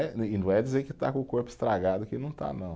E não é dizer que está com o corpo estragado, que não está, não.